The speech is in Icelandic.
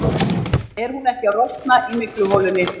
Er hún ekki að rotna í mygluholunni?